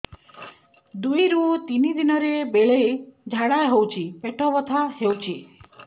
ଦୁଇରୁ ତିନି ଦିନରେ ବେଳେ ଝାଡ଼ା ହେଉଛି ପେଟ ବଥା ହେଉଛି